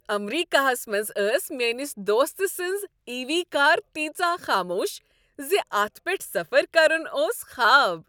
امریکہس منز ٲس میٲنس دوست سٕنز عی وی کار تیژاہ خاموش زِ اتَھ پیٹھ سفر کرن اوٗس خواب